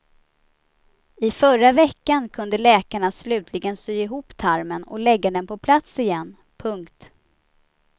I förra veckan kunde läkarna slutligen sy ihop tarmen och lägga den på plats igen. punkt